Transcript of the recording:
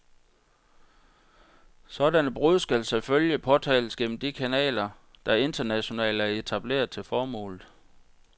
Sådanne brud skal selvfølgelig påtales gennem de kanaler, der internationalt er etableret til formålet.